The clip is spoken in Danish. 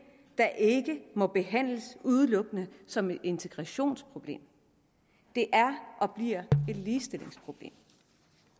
der ikke må behandles udelukkende som et integrationsproblem det er og bliver et ligestillingsproblem